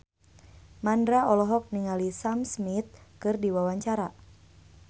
Mandra olohok ningali Sam Smith keur diwawancara